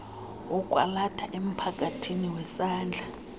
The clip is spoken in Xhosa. wokwalatha emphakathini wesandla